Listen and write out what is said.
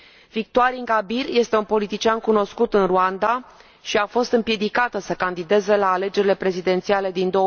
Victoire Ingabire este un politician cunoscut în Rwanda și a fost împiedicată să candideze la alegerile prezidențiale din